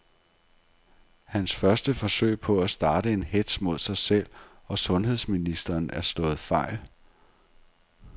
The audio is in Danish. Hans første forsøg på at starte en hetz mod sig selv og sundheds ministeren er slået fejl.